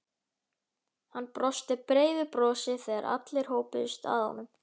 Hann brosti breiðu brosi þegar allir hópuðust að honum.